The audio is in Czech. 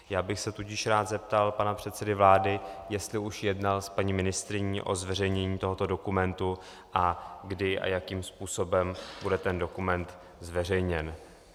Já bych se tudíž rád zeptal pana předsedy vlády, jestli už jednal s paní ministryní o zveřejnění tohoto dokumentu a kdy a jakým způsobem bude ten dokument zveřejněn.